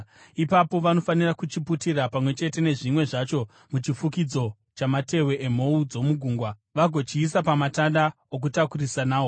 Ipapo vanofanira kuchiputira pamwe chete nezvimwe zvacho muchifukidzo chamatehwe emhou dzomugungwa vagochiisa pamatanda okutakurisa nawo.